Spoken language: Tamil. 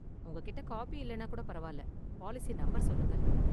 உங்க கிட்ட காப்பி இல்லைனா கூட பரவாயில்ல, பாலிசி நம்பர் சொல்லுங்க.